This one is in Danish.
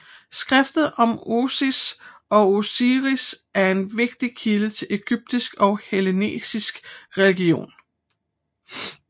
Skriftet Om Isis og Osiris er en vigtig kilde til egyptisk og hellenistisk religion